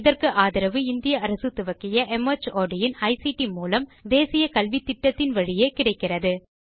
இதற்கு ஆதரவு இந்திய அரசு துவக்கிய மார்ட் இன் ஐசிடி மூலம் தேசிய கல்வித்திட்டத்தின் வழியே கிடைக்கிறது